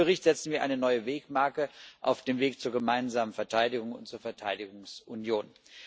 Mit diesem Bericht setzen wir eine neue Wegmarke auf dem Weg zur gemeinsamen Verteidigung und zur Verteidigungsunion.